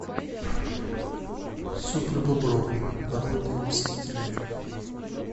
супербобровы народные мстители